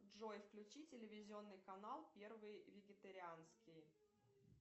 джой включи телевизионный канал первый вегетарианский